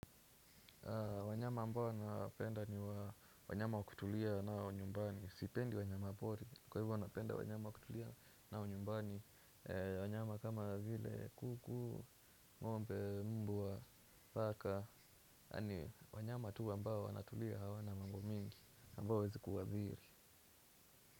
Wanyama ambao nawapenda ni wanyama wa kutulia na wa nyumbani sipendi wanyama pori kwa hivyo napenda wanyama wa kutulia na wa nyumbani. Wanyama kama vile kuku, ngombe, mbwa, paka. Wanyama tu ambao wanatulia hawana mambo mingi ambao hawaezi kuadhiri.